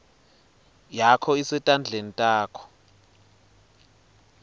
yakho isetandleni takho